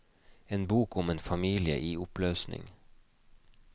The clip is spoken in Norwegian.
En bok om en familie i oppløsning.